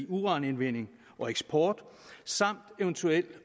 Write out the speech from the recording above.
uranindvending og eksport samt eventuelt